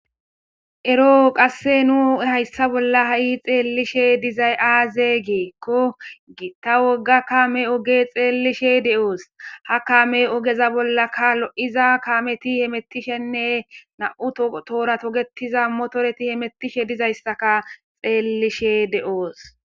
Eroo qasse nu hayssa bolla ha,i xeellishe dizay aaze geekko giitta wogga kame oge xeelishe de,oos ha kame ogeza bollakka lo,iza kameti hemettishenne na,u toora togetiza motoreti hemettishe dizayssaka xeellishe de,oos.